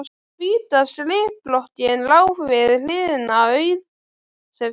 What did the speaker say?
Hvíta skrifblokkin lá við hliðina, auð sem fyrr.